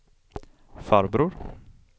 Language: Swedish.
farbror